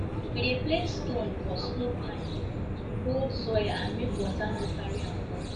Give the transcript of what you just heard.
we dey place stone for slope line to hold soil and make water no carry am go